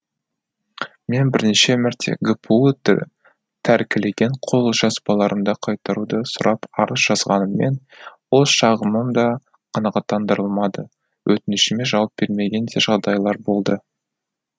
мен бірнеше мәрте гпу тәркілеген қолжазбаларымды қайтаруды сұрап арыз жазғаныммен ол шағымым да қанағаттандырылмады өтінішіме жауап бермеген де жағдайлар болды